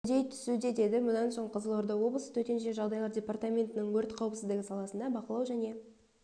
үдей түсуде деді мұнан соң қызылорда облысы төтенше жағдайлар департаментінің өрт қауіпсіздігі саласындағы бақылау және